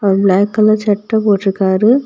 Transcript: ஒரு black colour shirt போட்ருக்காரு.